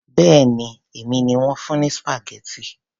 Béèni èmi ni wón fún ní spaghetti.